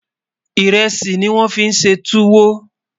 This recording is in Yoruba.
írèsì ní wón fí ṣé túwò